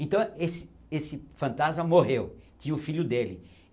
Então esse esse fantasma morreu, tinha o filho dele.